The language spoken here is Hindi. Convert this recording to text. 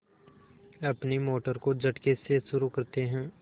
अपनी मोटर को झटके से शुरू करते हैं